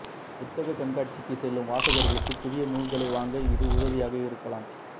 புத்தகக் கண்காட்சிக்கு செல்லும் வாசகர்களுக்கு புதிய நூல்களை வாங்க இது உதவியாக இருக்கலாம்